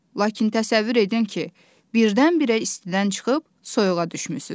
Lakin təsəvvür edin ki, birdən-birə istidən çıxıb soyuğa düşmüsünüz.